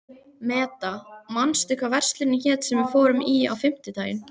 Meda, manstu hvað verslunin hét sem við fórum í á fimmtudaginn?